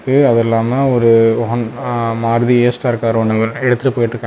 கு அது இல்லாம ஒரு அன் ஆ மாருதி ஏ_ஸ்டார் கார் ஒன்னு எடுத்துட்டு போயிட்காங்.